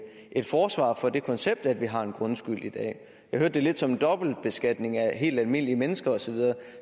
et forsvar for det koncept at vi har en grundskyld i dag jeg hørte det lidt som en dobbeltbeskatning af helt almindelige mennesker osv